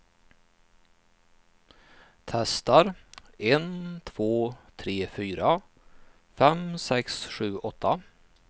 Testar en två tre fyra fem sex sju åtta.